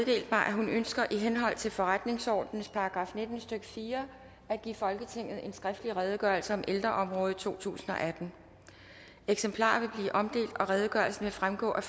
mig at hun ønsker i henhold til forretningsordenens § nitten stykke fire at give folketinget en skriftlig redegørelse om ældreområdet totusinde og attende eksemplarer vil blive omdelt og redegørelsen vil fremgå af